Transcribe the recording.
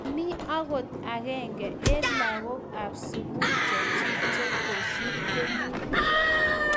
Mamie angot agenge eng lagok ab sukul che chik che kosir temutik